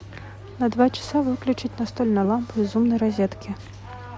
на два часа выключить настольная лампа из умной розетки